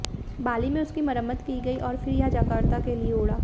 बाली में उसकी मरम्मत की गयी और फिर यह जकार्ता के लिए उड़ा